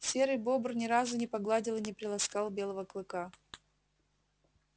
серый бобр ни разу не погладил и не приласкал белого клыка